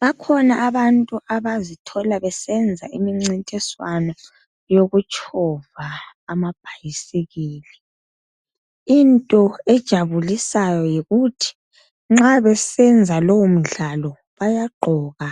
Bakhona abantu abazithola besenza imincintiswano yokutshova amabhasikili into ejabulisayo yikuthi bayabe besenza lowo mdlalo bayagqoka